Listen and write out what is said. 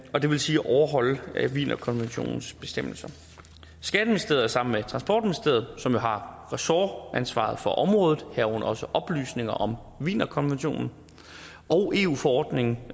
og det vil sige overholde wienerkonventionens bestemmelser skatteministeriet er sammen med transportministeriet som jo har ressortansvaret for området herunder også for oplysninger om wienerkonventionen og eu forordningen